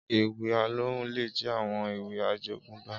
Éwì Alóhùn lé jè áwòn éwì àjógùnbá